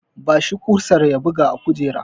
Ba shi kusar ya buga a kujera!